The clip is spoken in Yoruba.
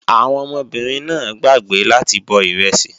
Àwọn ọmọbìnrin náà gbàgbé láti bọ ìrẹsì